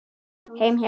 Heim, já.